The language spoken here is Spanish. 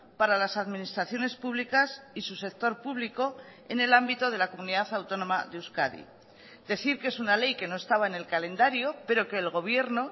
para las administraciones públicas y su sector público en el ámbito de la comunidad autónoma de euskadi decir que es una ley que no estaba en el calendario pero que el gobierno